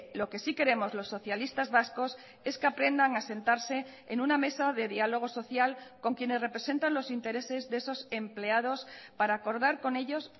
lo que sí queremos los socialistas vascos es que aprendan a sentarse en una mesa de diálogo social con quienes representan los intereses de esos empleados para acordar con ellos